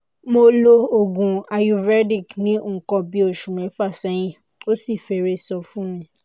mo lo oògùn ayurvedic ní nǹkan bí oṣù mẹ́fà sẹ́yìn ó sì fẹ́rẹ̀ẹ́ sàn fún mi